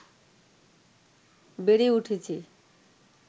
বেড়ে উঠেছে